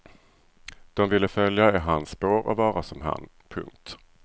De ville följa i hans spår och vara som han. punkt